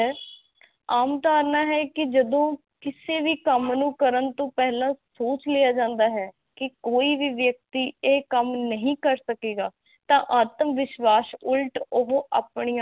ਆਮ ਧਰਨਾ ਹੈ ਕੀ ਜਦੋ ਕਿਸੇ ਵ ਕੰਮ ਨੂੰ ਕਰਨ ਤੋ ਪਹਿਲਾ ਸੋਚ ਲਿਆ ਜਾਂਦਾ ਹੈ ਕੀ ਕੋਈ ਵੀ ਵਿਅਕਤੀ ਇਹ ਕੰਮ ਨਹੀ ਕਰੇਗਾ ਤਾਂ ਆਤਮਵਿਸ਼ਵਾਸ ਉਲਟ ਉਹ ਅਪਣਿਆ